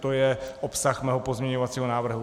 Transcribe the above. To je obsah mého pozměňovacího návrhu.